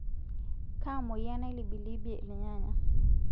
Kaa moyian nailibilibie irnyanya.